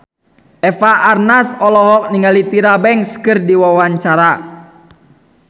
Eva Arnaz olohok ningali Tyra Banks keur diwawancara